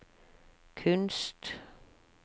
kunst